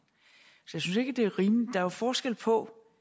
så jeg synes ikke det er rimeligt der er jo forskel på